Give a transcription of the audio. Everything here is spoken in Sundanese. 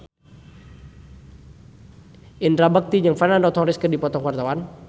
Indra Bekti jeung Fernando Torres keur dipoto ku wartawan